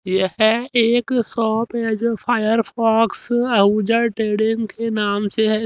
यह एक शॉप है जो फायर फॉक्स आहूजा ट्रेडिंग के नाम से है।